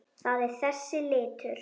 Það er þessi litur.